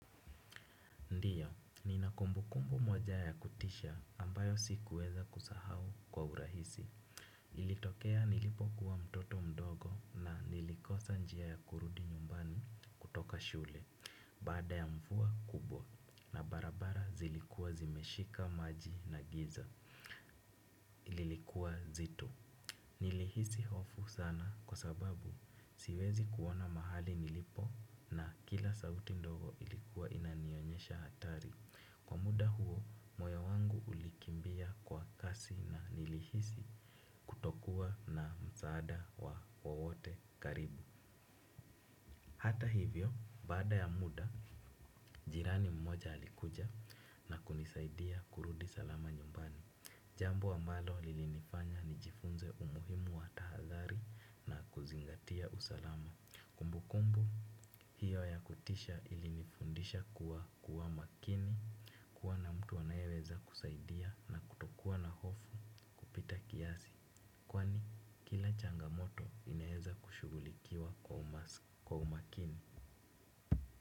Ndio, ninakumbukumbu moja ya kutisha ambayo sikuweza kusahau kwa urahisi. Ilitokea nilipo kuwa mtoto mdogo na nilikosa njia ya kurudi nyumbani kutoka shule. Baada ya mvua kubwa na barabara zilikuwa zimeshika maji na giza. Ililikuwa zito. Nilihisi hofu sana kwa sababu siwezi kuona mahali nilipo na kila sauti ndogo ilikuwa inanionyesha hatari. Kwa muda huo, moyo wangu ulikimbia kwa kasi na nilihisi kutokuwa na msaada wa wa wowote karibu. Hata hivyo, baada ya muda, jirani mmoja alikuja na kunisaidia kurudi salama nyumbani. Jambo ambalo lilinifanya nijifunze umuhimu wa tahadhari na kuzingatia usalama. Kumbukumbu, hiyo ya kutisha ilinifundisha kuwa kuwa makini. Kuwa na mtu anayeweza kusaidia na kutokuwa na hofu kupita kiasi, kwani kila changamoto inaeza kushughulikiwa kwa umakini.